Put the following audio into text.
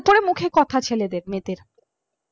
মুখে কথা ছেলে দের মেয়েদের